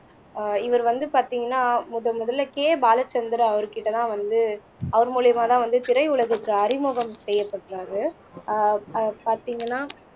ஆஹ் இவர் வந்து பாத்தீங்கன்னா முதன் முதல்ல கே பாலச்சந்தர் அவர்கிட்டதான் வந்து அவர் மூலியமாதான் வந்து திரை உலகிற்கு அறிமுகம் செய்யப்படறாரு ஆஹ் ஆஹ் பாத்தீங்கன்னா